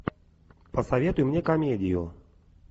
посоветуй мне комедию